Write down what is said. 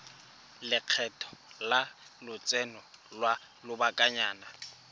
lekgetho la lotseno lwa lobakanyana